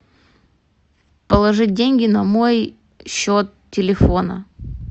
положить деньги на мой счет телефона